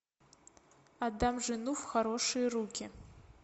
отдам жену в хорошие руки